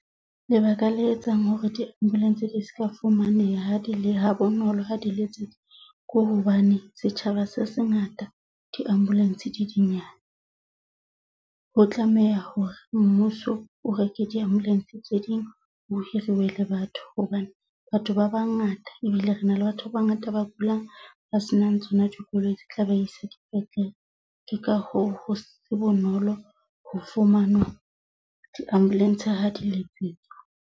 Lebaka la etsang hore di-ambulance di ska fumaneha ha di le ha bonolo ha dile letsetswa ko hobane setjhaba se se ngata, di-ambulance di dinyane, ho tlameha hore mmuso o reke di-ambulance tse ding ho hiriwe le batho. Hobane batho ba bangata ebile re na le batho ba bangata ba kulang, ba senang tsona dikoloi di tla ba isa dipetlele. Ke ka hoo ho se bonolo ho fumanwa di-ambulance ha di letsetswa.